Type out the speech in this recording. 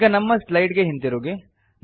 ಈಗ ನಮ್ಮ ಸ್ಲೈಡ್ ಗೆ ಹಿಂತಿರುಗಿ